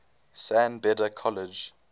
san beda college